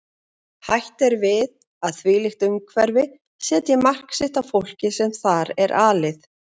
Hætt er við að þvílíkt umhverfi setji mark sitt á fólkið sem þar er alið.